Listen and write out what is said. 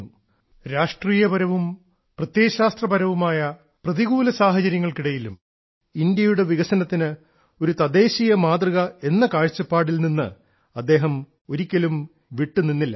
പ്രതികൂല രാഷ്ട്രീയവും പ്രത്യയശാസ്ത്രപരവുമായ സാഹചര്യങ്ങൾക്ക് ഇടയിലും ഒരിക്കലും ഇന്ത്യയുടെ വികസനത്തിന് ഒരു തദ്ദേശീയ മാതൃക എന്ന കാഴ്ചപ്പാടിൽ നിന്ന് അദ്ദേഹം വിട്ടുനിന്നില്ല